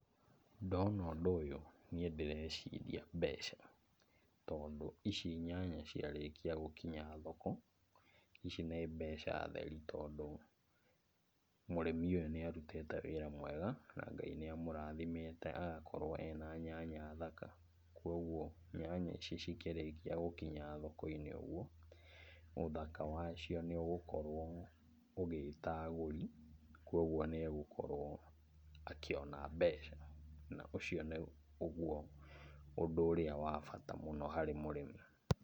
Ndona ũndũ ũyũ niĩ ndĩreciria mbeca, tondũ ici nyanya ciarĩkia gũkinya thoko, ici nĩ mbeca theri tondũ mũrĩmi ũyũ nĩarutĩte wĩra mwega na Ngai nĩamũrathimĩte agakorwo ena nyanya thaka. Kuoguo nyanya ici cikĩrĩkia gũkinya thoko-inĩ ũguo, ũthaka wacio nĩũgũkorwo ũgĩta agũri, kuoguo nĩegũkorwo akĩona mbeca, na ũcio nĩ ũguo ũndũ ũrĩa wa bata mũno harĩ mũrĩmi.